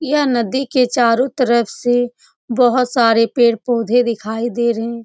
यह नदी के चारों तरफ से बहोत सारे पेड़-पौधे दिखाई दे रहे।